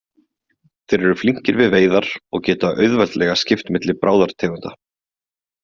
Þeir eru flinkir við veiðar og geta auðveldlega skipt milli bráðartegunda.